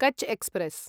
Kutch express